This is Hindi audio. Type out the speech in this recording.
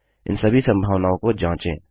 इन सभी संभावनाओं को जाँचें